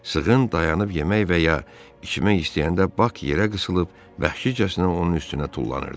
Sığın dayanıb yemək və ya içmək istəyəndə Bak yerə qısılıb vəhşicəsinə onun üstünə tullanırdı.